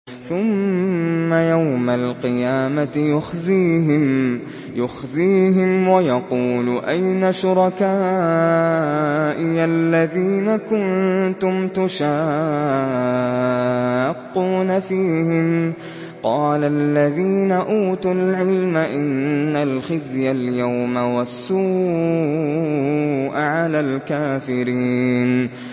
ثُمَّ يَوْمَ الْقِيَامَةِ يُخْزِيهِمْ وَيَقُولُ أَيْنَ شُرَكَائِيَ الَّذِينَ كُنتُمْ تُشَاقُّونَ فِيهِمْ ۚ قَالَ الَّذِينَ أُوتُوا الْعِلْمَ إِنَّ الْخِزْيَ الْيَوْمَ وَالسُّوءَ عَلَى الْكَافِرِينَ